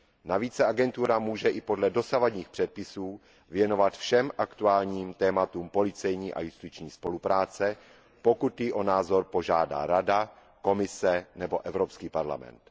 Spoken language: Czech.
Navíc se agentura může i podle dosavadních předpisů věnovat všem aktuálním tématům policejní a justiční spolupráce, pokud ji o názor požádá Rada, Komise nebo Evropský parlament.